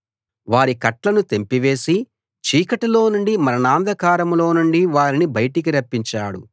వారి కట్లను తెంపివేసి చీకటిలోనుండి మరణాంధకారంలో నుండి వారిని బయటికి రప్పించాడు